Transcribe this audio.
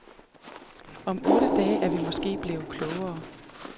Om otte dage er vi måske blevet klogere.